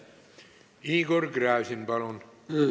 Igor Gräzin, palun!